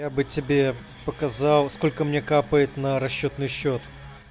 я бы тебе показал сколько мне капает на расчётный счёт